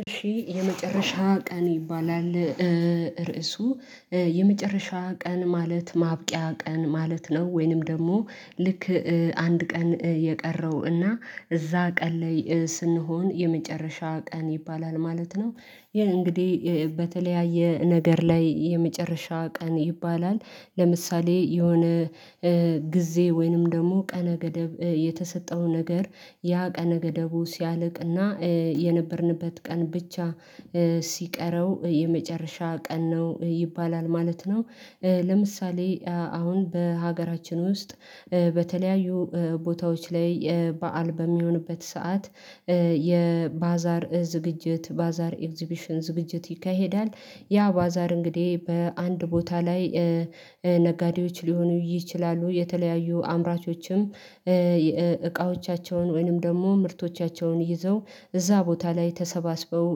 እሺ የመጨረሻ ቀን ይባላል ርዕሱ የመጨረሻ ቀን ማለት ማብቂያ ቀን ማለት ነው ወይንም ደግሞ ልክ አንድ ቀን የቀረው እና እዛ ቀን ላይ ስንሆን የመጨረሻ ቀን ይባላል ማለት ነው ይሄ እንግዲህ በተለያየ ነገር ላይ የመጨረሻ ቀን ይባላል ለምሳሌ የሆነ ጊዜ ወይንም ደግሞ ቀነ ገደብ የተሰጠው ነገር ያ ቀነ ገደቡ ሲያልቅና የነበርንበት ቀን ብቻ ሲቀረው የመጨረሻ ቀን ነው ይባላል ማለት ነው። ለምሳሌ አሁን በሀገራችን ውስጥ በተለያዩ ቦታዎች ላይ በዓል በሚሆንበት ሰዓት የባዛር ዝግጅት ባዛር ኤግዚቢሽን ዝግጅት ይካሄዳል ያ ባዛር እንግዲህ በአንድ ቦታ ላይ ነጋዴዎች ሊሆኑ ይችላሉ የተለያዩ አምራቾችም እቃዎቻቸውን ወይንም ደግሞ ምርቶቻቸውን ይዘው እዛ ቦታ ላይ ተሰባስበው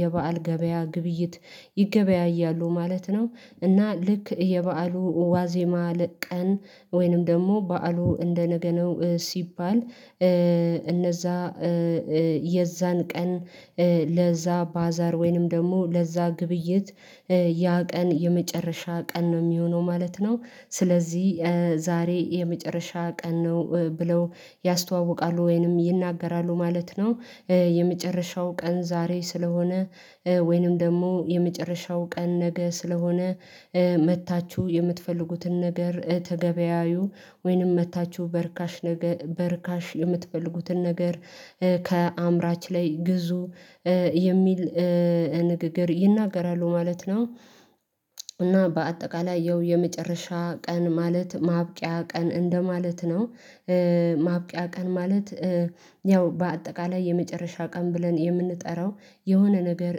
የበአል ገበያ ግብይት ይገበያያሉ ማለት ነው። እና ልክ የበአሉ ዋዜማ ለቀን ወይንም ደግሞ በዓሉ እንደነገ ነው ሲባል እነዛ የዛን ቀን ለዛ ባዛር ወይንም ደግሞ ለዛ ግብይት ያ ቀን የመጨረሻ ቀን ነው የሚሆነው ማለት ነው። ስለዚህ ዛሬ የመጨረሻ ቀን ነው ብለው ያስተዋውቃሉ ወይንም ይናገራሉ ማለት ነው የመጨረሻው ቀን ዛሬ ስለሆነ ወይንም ደግሞ የመጨረሻው ቀን ነገ ስለሆነ መጥታችሁ የምትፈልጉትን ነገር ተገበያዩ ወይንም መታችሁ በርካሽ ነገ በርካሽ የምትፈልጉትን ነገር ከአምራች ላይ ግዙ የሚል ንግግር ይናገራሉ ማለት ነው። እና በአጠቃላይ ያው የመጨረሻ ቀን ማለት ማብቂያ ቀን እንደማለት ነው። ማብቂያ ቀን ማለት ያው በአጠቃላይ የመጨረሻ ቀን ብለን የምንጠራው የሆነ ነገር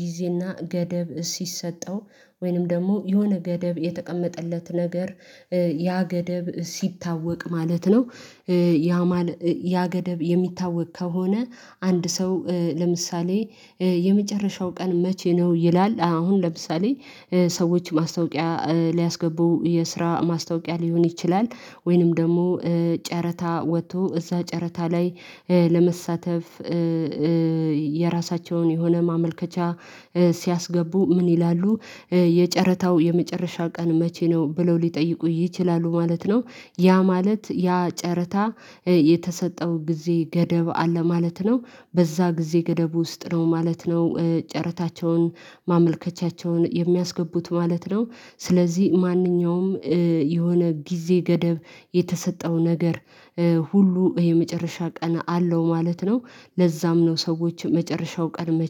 ጊዜና ገደብ ሲሰጠው ወይንም ደግሞ የሆነ ገደብ የተቀመጠለት ነገር ያ ገደብ ሲታወቅ ማለት ነው። ያ ማለት ያ ገደብ የሚታወቅ ከሆነ አንድ ሰው ለምሳሌ የመጨረሻው ቀን መቼ ነው ይላል? አሁን ለምሳሌ ሰዎች ማስታወቂያ ሊያስገቡ የስራ ማስታወቂያ ሊሆን ይችላል ወይንም ደግሞ ጨረታ ወጥቶ እዛ ጨረታ ላይ ለመሳተፍ የራሳቸውን የሆነ ማመልከቻ ሲያስገቡ ምን ይላሉ የጨረታው የመጨረሻ ቀን መቼ ነው ብለው ሊጠይቁ ይችላሉ ማለት ነው። ያ ማለት ያ ጨረታ የተሰጠው ጊዜ ገደብ አለ ማለት ነው በዛ ጊዜ ገደብ ውስጥ ነው ማለት ነው ጨረታቸውን ማመልከቻቸውን የሚያስገቡት ማለት ነው ስለዚህ ማንኛውም የሆነ ጊዜ ገደብ የተሰጠው ነገር ሁሉ የመጨረሻ ቀን አለው ማለት ነው። ለዛም ነው ሰዎች መጨረሻው ቀን መቼም?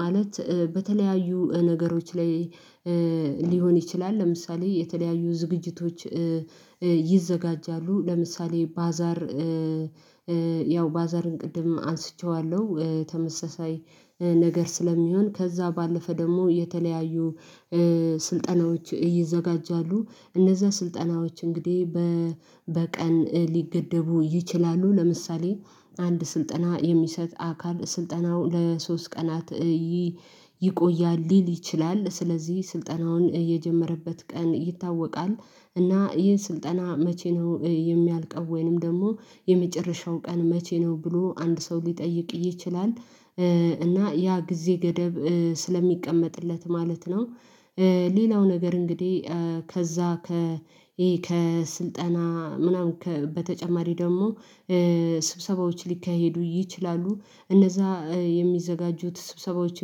ማለት በተለያዩ ነገሮች ላይ ሊሆን ይችላል ለምሳሌ የተለያዩ ዝግጅቶች ይዘጋጃሉ ለምሳሌ ባዛር ያው ባዛርን ቅድም አንስቼዋለሁ ተመሳሳይ ነገር ስለሚሆን ከዛ ባለፈ ደግሞ የተለያዩ ስልጠናዎች ይዘጋጃሉ እነዛ ስልጠናዎች እንግዲህ በቀን ሊገደቡ ይችላሉ ለምሳሌ አንድ ስልጠና የሚሰጥ አካል ስልጠናው ለሶስት ቀናት ይቆያል ሊል ይችላል ስለዚህ ስልጠናውን የጀመረበት ቀን ይታወቃል። እና ይህ ስልጠና መቼ ነው የሚያልቀው ወይንም ደግሞ የመጨረሻው ቀን መቼ ነው ብሎ አንድ ሰው ሊጠይቅ ይችላል? እና ያ ጊዜ ገደብ ስለሚቀመጥለት ማለት ነው። ሌላው ነገር እንግዲህ ከዛ ከስልጣና ምናምን በተጨማሪ ደግሞ ስብሰባዎች ሊካሄዱ ይችላሉ እነዛ የሚዘጋጁት ስብሰባዎች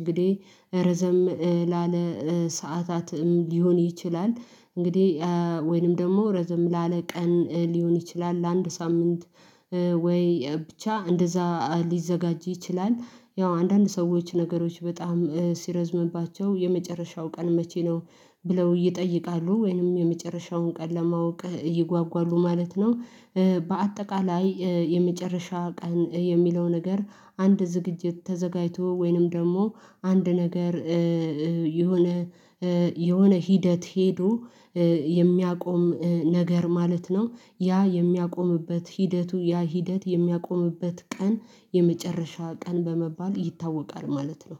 እንግዲህ ረዘም ላለ ሰዓታትም ሊሆን ይችላል እንግዲህ ወይንም ደግሞ ረዘም ላለ ቀን ሊሆን ይችላል ለአንድ ሳምንት ወይ ብቻ እንደዛ ሊዘጋጅ ይችላል። ያው አንዳንድ ሰዎች ነገሮች በጣም ሲረዝምባቸው የመጨረሻው ቀን መቼ ነው? ብለው ይጠይቃሉ ወይንም የመጨረሻውን ቀን ለማወቅ ይጓጓሉ ማለት ነው። በአጠቃላይ የመጨረሻ ቀን የሚለው ነገር አንድ ዝግጅት ተዘጋጅቶ ወይንም ደግሞ አንድ ነገር የሆነ ሂደት ሄዶ የሚያቆም ነገር ማለት ነው ያ የሚያቆምበት ሂደቱ ያ ሂደት የሚያቆምበት ቀን የመጨረሻ ቀን በመባል ይታወቃል ማለት ነው።